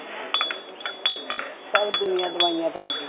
ਸਭ ਦੁਨੀਆਂ ਦਵਾਈਆਂ ਤੇ ਲੱਗੀ